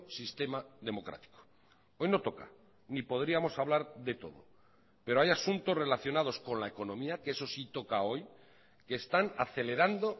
sistema democrático hoy no toca ni podríamos hablar de todo pero hay asuntos relacionados con la economía que eso sí toca hoy que están acelerando